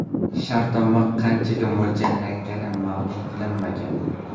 Shartnoma qanchaga mo‘ljallangani ma’lum qilinmagan.